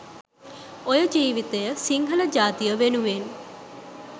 ඔය ජීවිතය සිංහල ජාතිය වෙනුවෙන්